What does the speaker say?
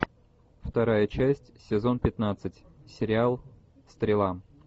вторая часть сезон пятнадцать сериал стрела